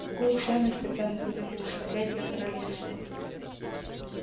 какую ценность тогда мы будем представлять для королевства